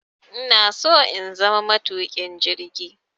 Inaso in zama matuƙin jirgi